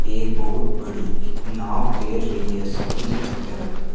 एक बहुत बड़ी नाव तैर रही है समुंद्र की तरफ।